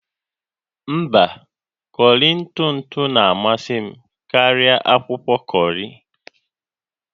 Mba, kọrị ntụ ntụ na-amasị karịa akwụkwọ kọrị